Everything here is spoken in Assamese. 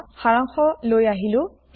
এতিয়া সাৰাংশ লৈ আহো